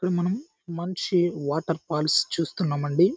ఇక్కడ మనం మంచి వాటర్ ఫాల్స్ చూస్తున్నాము అండి.